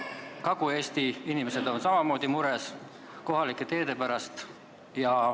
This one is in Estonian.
Kagu-Eesti inimesed on samamoodi mures kohalike teede pärast.